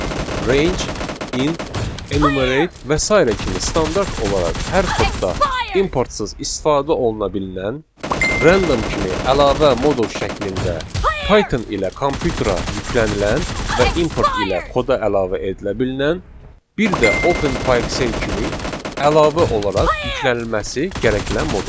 Range, int, enumerate və sairə kimi standart olaraq hər kodda importsız istifadə oluna bilnilən, random kimi əlavə modul şəklində Python ilə kompüterə yüklənilən və import ilə koda əlavə edilə bilnilən, bir də Open PyXell kimi əlavə olaraq yüklənilməsi gərəkilən modullar.